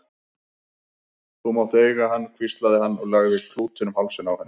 Þú mátt eiga hann hvíslaði hann og lagði klútinn um hálsinn á henni.